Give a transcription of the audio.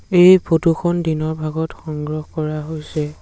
এই ফটো খন দিনৰ ভাগত সংগ্ৰহ কৰা হৈছে।